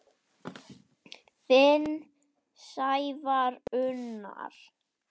Þinn Sævar Unnar.